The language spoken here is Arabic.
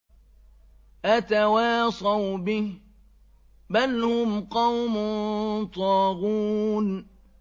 أَتَوَاصَوْا بِهِ ۚ بَلْ هُمْ قَوْمٌ طَاغُونَ